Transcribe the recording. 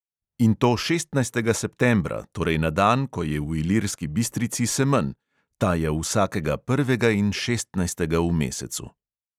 In to šestnajstega septembra, torej na dan, ko je v ilirski bistrici semenj (ta je vsakega prvem in šestnajstem v mesecu).